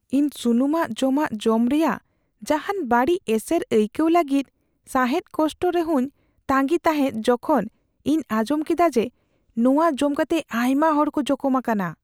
ᱤᱧ ᱥᱩᱱᱩᱢᱟᱱ ᱡᱚᱢᱟᱜ ᱡᱚᱢ ᱨᱮᱭᱟᱜ ᱡᱟᱦᱟᱱ ᱵᱟᱹᱲᱤᱡ ᱮᱥᱮᱨ ᱟᱹᱭᱠᱟᱹᱣ ᱞᱟᱹᱜᱤᱫ ᱥᱟᱦᱮᱫ ᱠᱚᱥᱴᱚ ᱨᱮᱦᱚᱧ ᱛᱟᱸᱜᱤ ᱛᱟᱦᱮᱫ ᱡᱚᱠᱷᱮᱡ ᱤᱧ ᱟᱸᱡᱚᱢ ᱠᱮᱫᱟ ᱡᱮ ᱱᱚᱶᱟ ᱡᱚᱢ ᱠᱟᱛᱮ ᱟᱭᱢᱟ ᱦᱚᱲ ᱠᱚ ᱡᱚᱠᱚᱢ ᱟᱠᱟᱱᱟ ᱾